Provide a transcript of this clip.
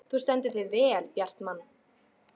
Þú stendur þig vel, Bjartmann!